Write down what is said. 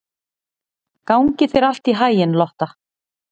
Gangi þér allt í haginn, Lotta.